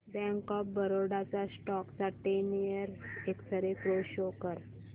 bank of Baroda च्या stock चा ten year x ray pro show कर